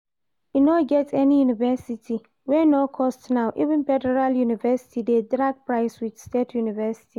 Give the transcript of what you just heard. E no get any university wey no cost now, even federal uni dey drag price with state uni